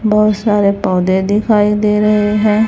बहुत सारे पौधे दिखाई दे रहे हैं।